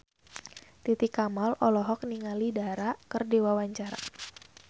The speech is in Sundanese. Titi Kamal olohok ningali Dara keur diwawancara